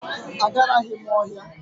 Agaraghị m ọhịa.